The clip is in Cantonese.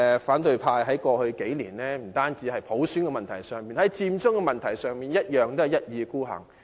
反對派在過去數年不單在普選問題上如此，在"佔中"問題上亦是一意孤行。